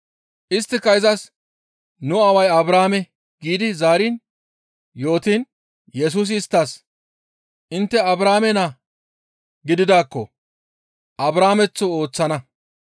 Isttika izas, «Nu aaway Abrahaame» giidi zaari yootiin Yesusi isttas, «Intte Abrahaame naa gididaakko Abrahaameththo ooththana.